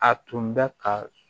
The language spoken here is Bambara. A tun bɛ ka